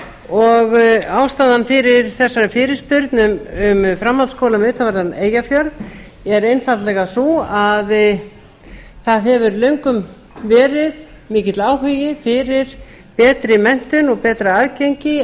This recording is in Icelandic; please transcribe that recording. og ástæðan fyrir þessari fyrirspurn um framhaldsskóla við utanverðan eyjafjörð er einfaldlega sú að það hefur löngum verið mikill áhugi fyrir betri menntun og betra aðgengi